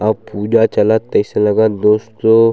अऊ पूजा चालत तइसे लगथ दोस्तों--